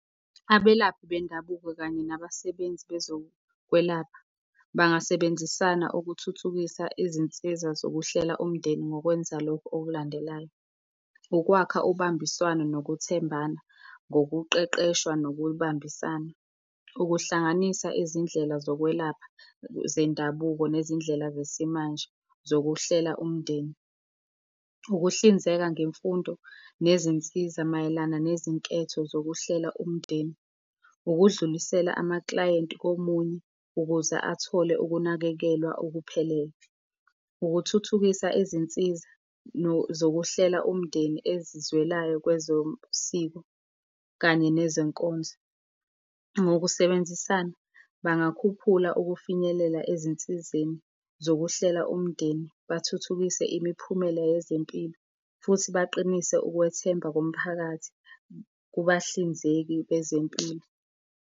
Abelaphi bendabuko kanye nabasebenzi bezokwelapha bangasebenzisana ukuthuthukisa izinsiza zokuhlela umndeni ngokwenza lokhu okulandelayo. Ukwakha ubambiswano nokuthembana ngokuqeqeshwa nokubambisana, ukuhlanganisa izindlela zokwelapha zendabuko nezindlela zesimanje zokuhlela umndeni. Ukuhlinzeka ngemfundo nezinsiza mayelana nezinketho zokuhlela umndeni. Ukudlulisela amaklayenti komunye, ukuze athole ukunakekelwa okuphelele, ukuthuthukisa izinsiza zokuhlela umndeni ezizwelayo kwezomsiko kanye nezenkonzo. Ngokusebenzisana, bangakhuphula ukufinyelela ezinsizeni zokuhlela umndeni, bathuthukise imiphumela yezempilo, futhi baqinise ukwethemba komphakathi kubahlinzeki bezempilo.